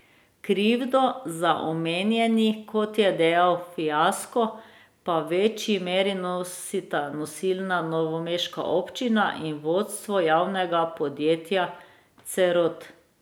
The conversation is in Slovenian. Krivdo za omenjeni, kot je dejal, fiasko, pa v večji meri nosita nosilna novomeška občina in vodstvo javnega podjetja Cerod.